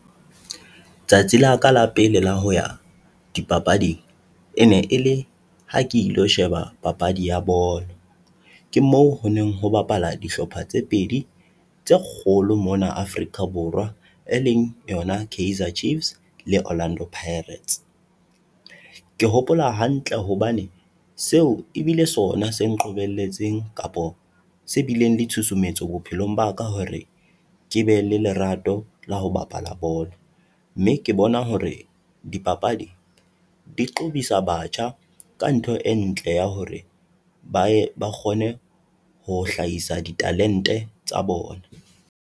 Tsatsi laka la pele la ho ya dipapading, e ne e le ha ke ilo sheba papadi ya bolo. Ke moo ho neng ho bapala dihlopha tse pedi tse kgolo mona Afrika Borwa, e leng yona, Kaizer Chiefs le Orlando Pirates. Ke hopola hantle hobane seo ebile sona se nqobelletseng kapa se bileng le tshusumetso bophelong ba ka hore, ke be le lerato la ho bapala bolo mme ke bona hore dipapadi di qobisa batjha ka ntho e ntle ya hore ba ye ba kgone ho hlahisa di-talent-e tsa bona.